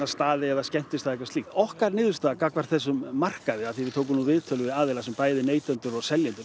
staði eða skemmtistaði eða eitthvað slíkt okkar niðurstaða gagnvart þessum markaði af því við tókum viðtöl við bæði neytendur og seljendur